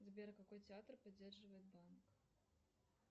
сбер какой театр поддерживает банк